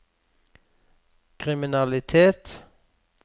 kriminalitet